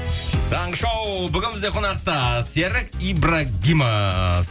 таңғы шоу бүгін бізде қонақта серік ибрагимов